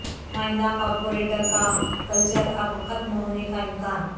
نمائندہ کارپوریٹر کا کلچر اب ختم ہونے کا امکان